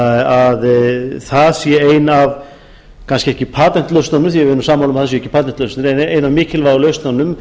að það sé ein af kannski ekki patentlausnunum því að við erum sammála um að það séu ekki patentlausnir en ein af mikilvægu lausnunum